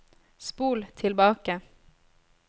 spol tilbake